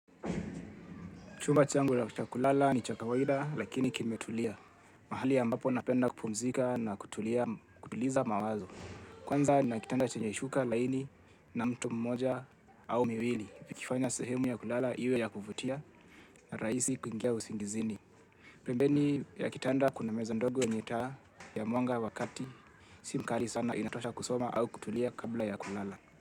Chumba changu cha kulala ni cha kawaida lakini kimetulia. Mahali ambapo napenda kupumzika na kutuliza mawazo. Kwanza nina kitanda chenye shuka laini na mto mmoja au miwili. Ikifanya sehemu ya kulala iwe ya kuvutia na rahisi kuingia usingizini. Pembeni ya kitanda kuna meza ndogo yenye taa ya mwanga wa kati. Si mkali sana inatosha kusoma au kutulia kabla ya kulala.